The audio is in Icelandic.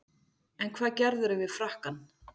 En hvað gerðirðu við frakkann?